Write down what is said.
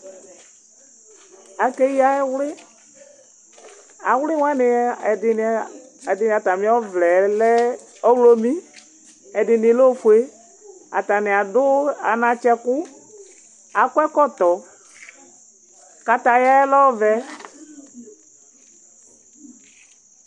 Aké ya ɛwlĩ Awlĩ wani ɛdini atamiɔ ʋlɛlɛ ɔwlomi, ɛdini lɛ oƒué, atania du anatsɛ ku Akɔ ɛkɔtɔ Katayaɛ lɛ ɔʋɛ